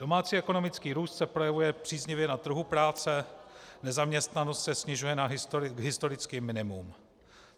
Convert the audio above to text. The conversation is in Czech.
Domácí ekonomický růst se projevuje příznivě na trhu práce, nezaměstnanost se snižuje na historické minimum.